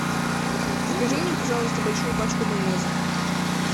закажи мне пожалуйста большую пачку майонеза